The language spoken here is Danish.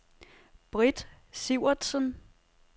Britt Sivertsen